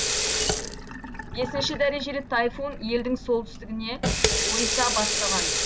бесінші дәрежелі тайфун елдің солтүстігіне ойыса бастаған